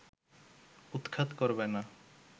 উৎখাত করবে না